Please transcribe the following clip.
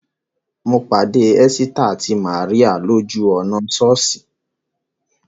Mo pàdé Ẹ́sítà àti Màríà lójú ọ̀nà sọ́ọ̀sì